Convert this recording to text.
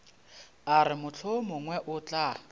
a re mohlomongwe o tla